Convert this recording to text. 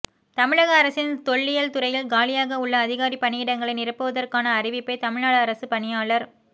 தமிழக அரசின் தொல்லியல் துறையில் காலியாக உள்ள அதிகாரி பணியிடங்களை நிரப்புவதற்கான அறிவிப்பை தமிழ்நாடு அரசுப் பணியாளர்